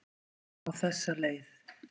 Niðurlagið var á þessa leið